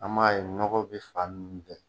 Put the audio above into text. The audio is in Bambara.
An man ye nɔgɔ bɛ fan ninnu bɛɛ